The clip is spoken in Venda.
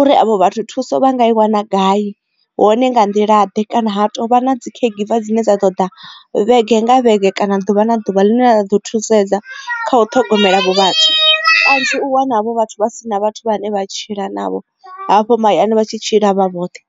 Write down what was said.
uri avho vhathu thuso vha nga i wana gai hone nga nḓila ḓe kana ha tovha na dzi caregiver dzine dza ḓo ḓa vhege nga vhege kana ḓuvha na ḓuvha ḽine ḽa ḓo thusedza kha u ṱhogomela havho vhathu kanzhi u wana avho vhathu vha si na vhathu vhane vha tshila navho hafho mahayani vha tshi tshila vha vhoṱhe.